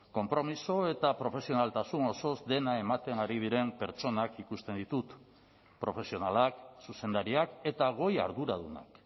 konpromiso eta profesionaltasun osoz dena ematen ari diren pertsonak ikusten ditut profesionalak zuzendariak eta goi arduradunak